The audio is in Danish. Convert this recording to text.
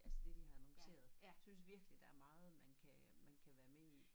Altså det de har annonceret jeg synes virklig der er meget man kan man kan være med i